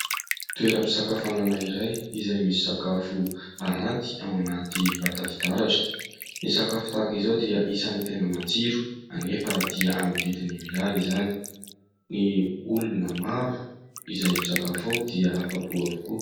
Toeram-pisakafoanana iray izay misy sakafo aranty ao anaty vata fitaratra, ny sakafo tahaka izao dia isany tena matsiro anefa dia amin'ny vidiny mirary izany, ny olona maro izay misakafo ao dia afa-po avokoa.